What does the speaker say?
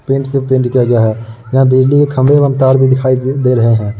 Paint से paint किया गया है। यहाँ बिजली के खम्बे एवं तार भी दिखाई दे रहें हैं।